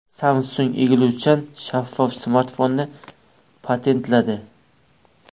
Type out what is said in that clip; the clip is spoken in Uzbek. Samsung egiluvchan shaffof smartfonni patentladi.